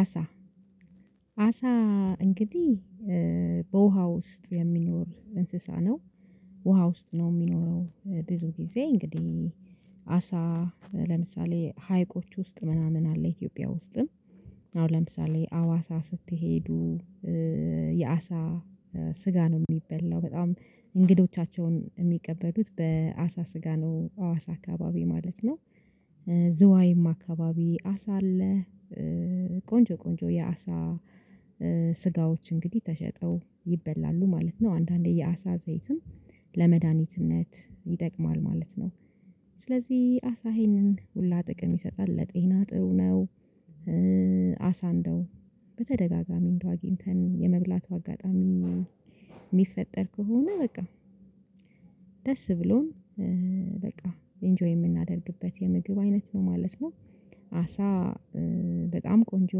አሳ አሳ እንግዲህ በውሃ ውስጥ የሚኖር እንስሳ ነው። ውሃ ውስጥ ነው የሚኖረው ብዙ ጊዜ እንግዲህ አሳ ለምሳሌ ሀይቆች ውስጥ ምናምን አለ ኢትዮጵያ ውስጥም። አሁን ለምሳሌ አዋሳ ስትሄዱ ስጋ ነው የሚበላው። በጣም እንግዶቻቸውን የሚቀበሉት በአሳ ስጋ ነው አዋሳ አካባቢ ማለት ነው። ዝዋይማ አካባቢ አሳ አለ። ቆንጆ የአሳ ስጋዎች እንግዲህ ተሸጠው ይበላሉ ማለት ነው። አንዳንዴ የአሳ ዘይትን ለመድኃኒትነት ይጠቅማል ማለት ነው። ስለዚህ አሳ ይሄንን ሁላ ጥቅም ይሰጣል። ለጤና ጥሩ ነው። አሳ እንደው በተደጋጋሚ እንደው አግኝተን የመብላቱ አጋጣሚ የሚፈጠር ከሆነ በቃ ደስ ብሎን ኢንጆይ የምናደርግበት የምግብ አይነት ነው ማለት ነው። አሳ በጣም ቆንጆ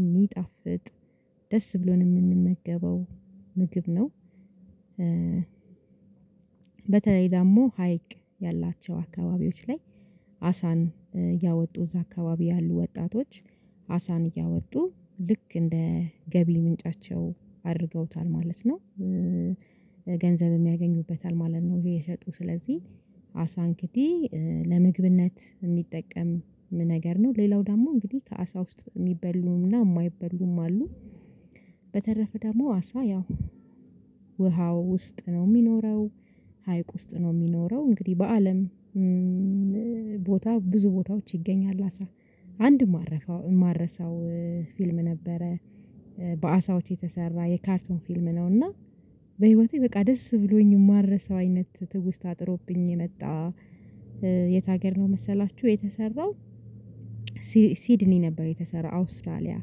የሚጣፍጥ ደስ ብሎን የምንመገበው ምግብ ነው። በተለይ ደግሞ ሀይቅ ያላቸው አካባቢዎች ላይ አሳን እያወጡ እዛ አካባቢ ያሉ ወጣቶች አሳን እያወጡ ልክ እንደ ገቢ ምንጫቸው አድርገውታል ማለት ነው። ገንዘብ የሚያገኙበታል ማለት ነው እየሸጡ። ስለዚህ አሳ እግዲህ ለምግብነት የሚጠቀም ነገር ነው። ሌላው ደግሞ እንግዲህ ከአሳ ውስጥ የሚበሉምና የማይበሉም አሉ። በተረፈ ደግሞ አሳ ያው ውሃው ውስጥ ነው የሚኖረው። ሀይቅ ውስጥ ነው የሚኖረው። እንግዲህ በአለም ቦታ ብዙ ቦታዎች ይገኛል አሳ። አንድ የማረፈው የማረሳው ፊልም ነበረ በአሳዎች የተሰራ የካርቶን ፊልም ነው። እና በህይወቴ በቃ ደስ ብሎኝ የማልረሳው አይነት ትውስታ ጥሎብኝ የመጣ የት ነው መሰላችሁ የተሰራው ሲድኒ ነበር የተሰራው አውስትራሊያ።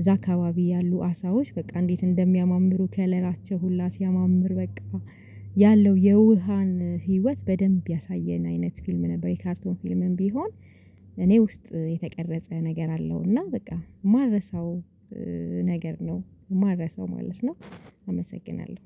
እዛ አካባቢ ያሉ አሳዎች በቃ እንዴት እንደሚያማምሩ ከለራቸው ሁላ ሲያማምር በቃ ያለው የውሃን ህይወት በደንብ ያሳየን አይነት ፊልም ነበር። የካርቶን ፊልምም ቢሆን እኔ ውስጥ የተቀረጸ ነገር አለው። እና በቃ የማልረሳው ነገር ነው። የማልረሳው ማለት ነው። አመሰግናለሁ።